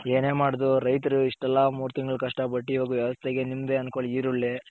ಏನೇ ಮಾಡಿದ್ರು ರೈತರು ಇಷ್ಟೆಲ್ಲಾ ಮೂರ್ ತಿಂಗಳ್ ಕಷ್ಟ ಪಟ್ಟಿ ಇವಾಗ ವ್ಯವಸ್ಥೆ ಗೆ ನಿಮ್ದೆ ಅನ್ಕೊಳ್ಳಿ ಈರುಳ್ಳಿ.